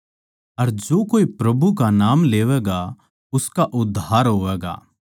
अर जो कोए प्रभु का नाम लेवैगा उसका उद्धार होवैगा